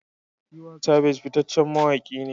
Tiwa Savage fitaccen mawaki ne.